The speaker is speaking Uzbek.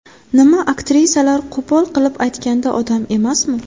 Nima, aktrisalar, qo‘pol qilib aytganda, odam emasmi?